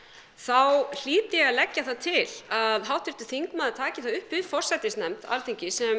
þá hlýt ég að leggja það til að háttvirtur þingmaður taki það upp við forsætisnefnd Alþingis sem